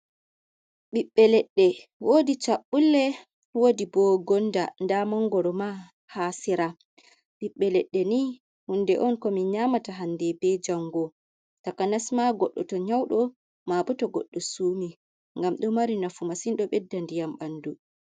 Ɓiɓbe leɗɗe wodi cabɓulle wodi bo gonda, nda mangoro ma ha sera. Ɓiɓbe leɗɗe ni hunde on ko min nyamata hande be jango takanas ma goɗɗo to nyauɗo, mabo tow goɗɗo sumi ngam ɗo mari nafu masin ɗo bedda ndiyam ha bandu.